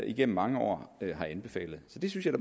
igennem mange år har anbefalet så det synes jeg